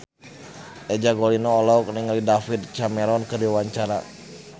Eza Gionino olohok ningali David Cameron keur diwawancara